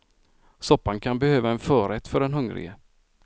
Soppan kan behöva en förrätt för den hungrige.